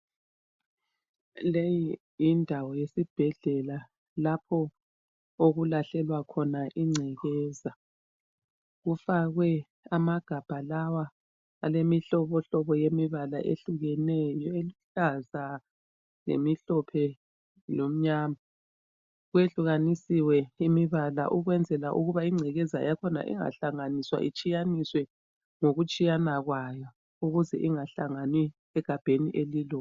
Leyi yindawo yesibhedlela lapho okulahlelwa khona ingcekeza. Kufakwe amagamba lawa alemihlobohlobo yemibala eyehlukeneyo eluhlaza lemhlophe lemnyama. Kuyehlukanisiwe imibala ukwenzela ukuba ingcekeza yakhona ingahlanganiswa itshiyaniswe ngokutshiyana kwayo ukuze ingahlangani egabheni elilodwa.